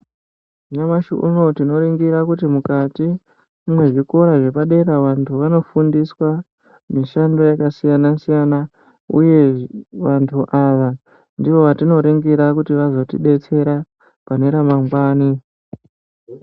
Nyamashi unowu tinoningira kuti mukati mwezvikora zvepadera vantu vanofundiswa mishando yakasiyana siyana uye vantu ava ndivo vatinoringira kuti vazotibetsera pane ramangwani .